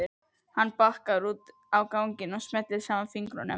Hann bakkar út á ganginn og smellir saman fingrunum.